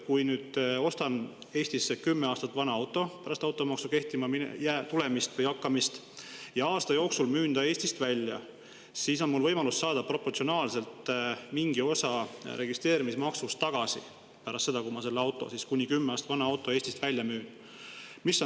Kui ma ostan pärast automaksu kehtima hakkamist Eestis kuni kümme aastat vana auto ja aasta jooksul müün selle Eestist välja, siis on mul võimalus pärast seda, kui ma selle kuni kümme aastat vana auto Eestist välja müün, saada proportsionaalselt mingi osa registreerimismaksust tagasi.